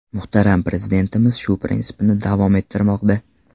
Muhtaram Prezidentimiz shu prinsipni davom ettirmoqda.